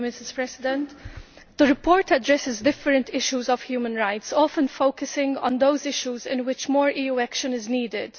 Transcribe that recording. Madam President, the report addresses different issues of human rights, often focusing on those issues in which more EU action is needed.